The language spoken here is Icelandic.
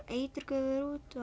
eiturgufur út